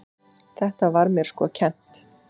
Þetta var mér sko kennt.